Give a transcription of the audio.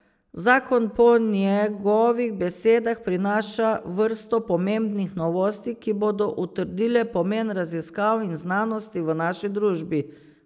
Zakon po njegovih besedah prinaša vrsto pomembnih novosti, ki bodo utrdile pomen raziskav in znanosti v naši družbi.